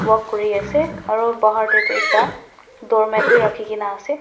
walk kuri asa aru bhar tae toh ekta doormat vi rekhina ase.